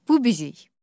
Bu bizik.